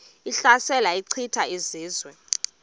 ehlasela echitha izizwe